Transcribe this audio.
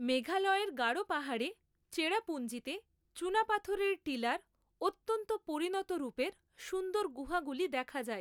মেঘালয়ের গাড়ো পাহাড়ে চেরাপূজ্ঞিতে চুনাপাথরের টিলার অত্যন্ত পরিণত রূপের সুন্দর গুহাগুলি দেখা যায়।